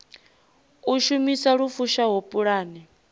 u shumisa lu fushaho pulane